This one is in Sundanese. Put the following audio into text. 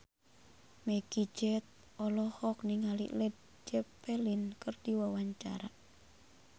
Meggie Z olohok ningali Led Zeppelin keur diwawancara